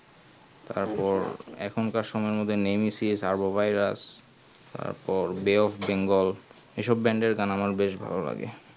তারপর এখুন কার সময়ে এর মধ্যে nemesis তারপর Carbovirous এসব bay-of-bengal এর গান আমার ভালো লাগে